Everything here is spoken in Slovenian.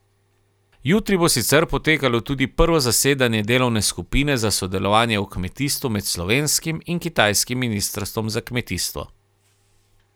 Jutri bo sicer potekalo tudi prvo zasedanje delovne skupine za sodelovanje v kmetijstvu med slovenskim in kitajskim ministrstvom za kmetijstvo.